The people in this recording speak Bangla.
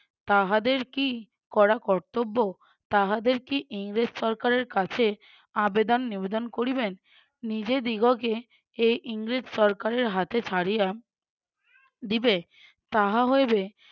তাহাদের কী করা কর্তব্য তাহাদের কি ইংরেজ সরকার এর কাছে আবেদন নিবেদন করিবেন? নিজেদিগকে এই ইংরেজ সরকারের হাতে ছাড়িয়া দিবে। তাহা হইবে